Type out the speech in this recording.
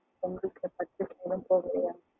பொங்கலுக்கு purchase எல்லாம் போகலையா?